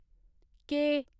के